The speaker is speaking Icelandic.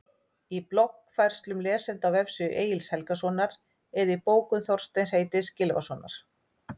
Í bloggfærslum lesenda á vefsíðu Egils Helgasonar eða í bókum Þorsteins heitins Gylfasonar?